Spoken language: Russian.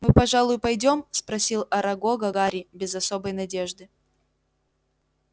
мы пожалуй пойдём спросил арагога гарри без особой надежды